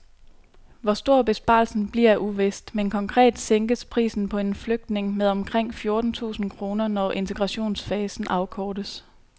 Hvor stor besparelsen bliver er uvist, men konkret sænkes prisen på en flygtning med omkring fjorten tusind kroner, når integrationsfasen afkortes.